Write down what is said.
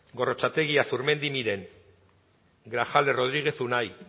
gorrotxategi azurmendi miren grajales rodríguez unai